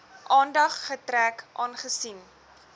aandag getrek aangesien